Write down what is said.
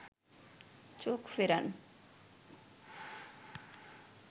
চোখ ফেরান